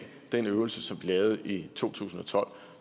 den øvelse som vi lavede i to tusind og tolv